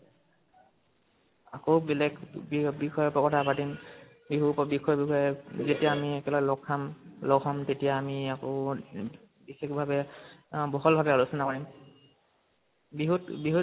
আকৌ বেলেগ বি~ বিষয়ে কথা পাতিম । বিহু যেতিয়া আমি একেলগে লগ খাম, লগ হʼম তেতিয়া আমি আকৌ ম বিশেষভাৱে, বহল ভাৱে আলোচনা কৰিম । বিহুত বিহুত